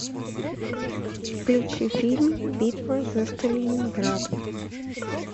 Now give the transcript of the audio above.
включи фильм битва за сталинград